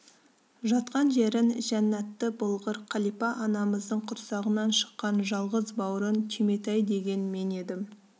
жатқан жерің жәннаты болғыр қалипа анамыздың құрсағынан шыққан жалғыз бауырың түйметай деген мен едім